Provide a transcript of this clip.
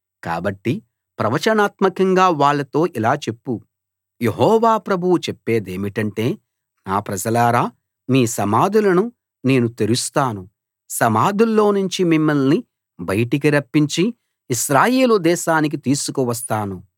కాబట్టి ప్రవచనాత్మకంగా వాళ్ళతో ఇలా చెప్పు యెహోవా ప్రభువు చెప్పేదేమిటంటే నా ప్రజలారా మీ సమాధులను నేను తెరుస్తాను సమాధుల్లో నుంచి మిమ్మల్ని బయటికి రప్పించి ఇశ్రాయేలు దేశానికి తీసుకు వస్తాను